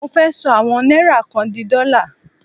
Mo fẹ́ ṣọ àwọn náírà kan di dọ́là.